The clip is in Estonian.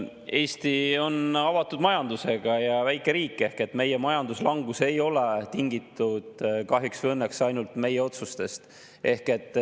Eesti on avatud majandusega väike riik ehk meie majanduslangus ei ole tingitud kahjuks või õnneks ainult meie otsustest.